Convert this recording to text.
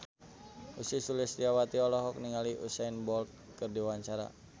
Ussy Sulistyawati olohok ningali Usain Bolt keur diwawancara